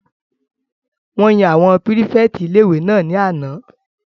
Wọ́n yan àwọn pírífẹ̀tì ilé-ìwé náà ní àná